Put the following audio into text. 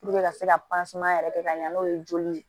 ka se ka yɛrɛ kɛ ka ɲɛ n'o ye joli ye